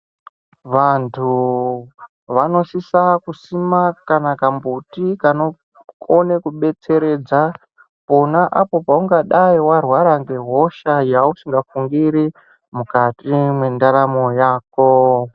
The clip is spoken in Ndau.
Vantu vanosisa kusima kana kambuti kanokone kubetseredza pona apo paungadai warwara ngehosha yausingafungiri mukati mwendaramo yako.